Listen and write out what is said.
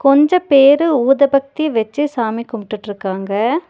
கொஞ்ச பேரு ஊதுபத்தி வெச்சி சாமி கும்ட்டுட்ருக்காங்க.